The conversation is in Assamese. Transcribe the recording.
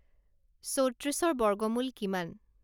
চৌত্ৰিশৰ বৰ্গমূল কিমান